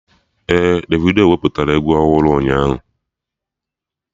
Ee, Davido wepụtara egwu ọhụrụ ụnyaahụ